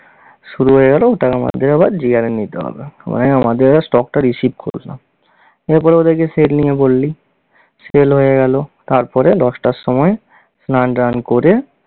শুরু হয়ে গেল ওটা আমাদের আবার নিতে হবে। আমাদের এবার stock টা receive করলো। এরপর ওদেরকে sell নিয়ে বললি, sell হয়ে গেল। তারপরে দশটার সময় স্নান ট্নান করে